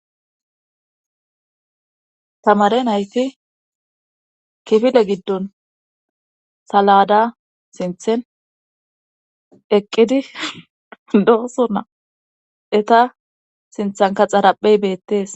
tamare nayti kifile giddon salada sinthen eqqidi dooso na eta sinthanka xaraphey beettees